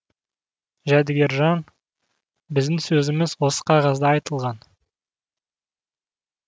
жәдігержан біздің сөзіміз осы қағазда айтылған